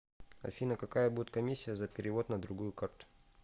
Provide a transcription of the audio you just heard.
афина какая будет комиссия за перевод на другую карту